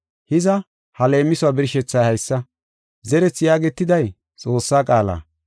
“Hiza, ha leemisuwa birshethay haysa: koche yaagetiday Xoossaa qaala.